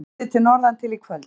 Léttir til norðantil í kvöld